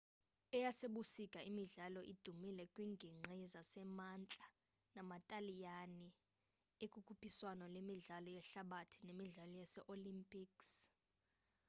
eyasebusika imidlalo idumile kwiinginqgi zasemantla nama-taliyani ekukhuphiswano lemidlalo yehlabathi nemidlalo yee-olympics